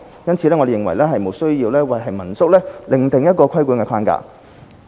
因此，我們認為無須為民宿另訂規管框架。